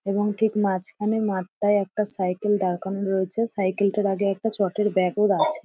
এবং ঠিক মাঝখানে মাঠটায় একটা সাইকেল দাঁড় করানো রয়েছে। সাইকেলটার আগে একটা চটের ব্যাগ আছে ।